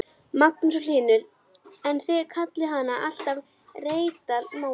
Magnús Hlynur: En þið kallið hann alltaf Reykdal Mána?